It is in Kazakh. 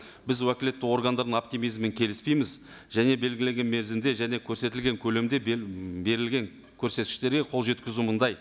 біз уәкілетті органдардың оптимизмімен келіспейміз және белгіленген мерзімде және көрсетілген көлемде берілген көрсеткіштерге қол жеткізу мындай